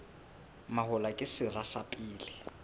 mahola ke sera sa pele